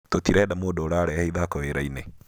tũtirenda mũndũ ũrarehe ithako wĩra-inĩ.